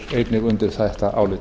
einnig undir þetta álit